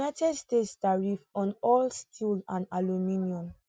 united states tariffs on all steel and aluminium